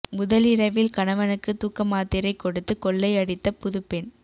முதலிரவில் கணவனுக்கு தூக்கமாத்திரை கொடுத்து கொள்ளை அடித்த புதுப்பெண்